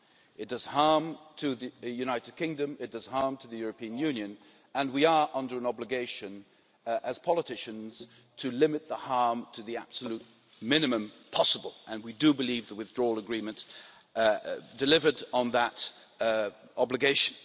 It does harm to the United Kingdom, it does harm to the European Union, and we are under an obligation as politicians to limit the harm to the absolute minimum possible, and we do believe the Withdrawal Agreement delivered on that obligation.